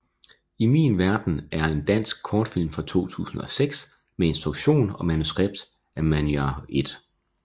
I min verden er en dansk kortfilm fra 2006 med instruktion og manuskript af Manyar I